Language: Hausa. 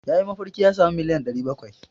Ya yi mafarki ya sami miliyan 700.